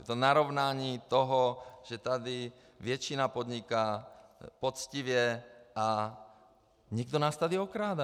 Je to narovnání toho, že tady většina podniká poctivě a někdo nás tady okrádá.